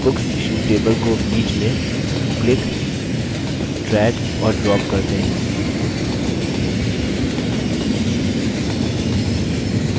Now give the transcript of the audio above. और फिर booksissued table को बीच में click drag और drop करते हैं